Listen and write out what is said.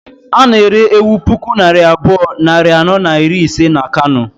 A na-ere ewu puku naira abụọ, nari anọ na iri ise na Kano